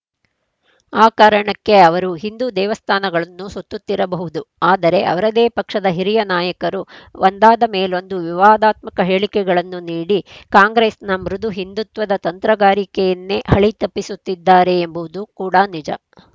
ಆ ಕಾರಣಕ್ಕೇ ಅವರು ಹಿಂದು ದೇವಸ್ಥಾನಗಳನ್ನು ಸುತ್ತುತ್ತಿರಬಹುದು ಆದರೆ ಅವರದೇ ಪಕ್ಷದ ಹಿರಿಯ ನಾಯಕರು ಒಂದಾದ ಮೇಲೊಂದು ವಿವಾದಾತ್ಮಕ ಹೇಳಿಕೆಗಳನ್ನು ನೀಡಿ ಕಾಂಗ್ರೆಸ್‌ನ ಮೃದು ಹಿಂದುತ್ವದ ತಂತ್ರಗಾರಿಕೆಯನ್ನೇ ಹಳಿತಪ್ಪಿಸುತ್ತಿದ್ದಾರೆ ಎಂಬುದು ಕೂಡ ನಿಜ